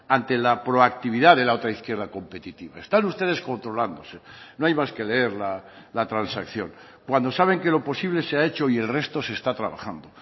ante la proactividad de la otra izquierda competitiva están ustedes controlándose no hay más que leer la transacción cuando saben que lo posible se ha hecho y el resto se está trabajando